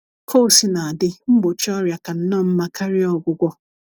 Ka o sina dị, mgbọchi ọrịa ka nnọọ mma karia ọgwụgwọ